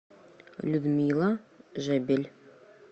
людмила жебель